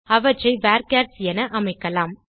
அவற்றை வர்ச்சர்ஸ் என அமைக்கலாம்